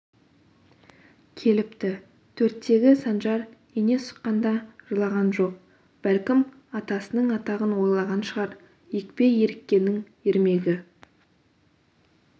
келіпті төрттегі санжар ине сұққанда жылаған жоқ бәлкім атасының атағын ойлаған шығар екпе еріккеннің ермегі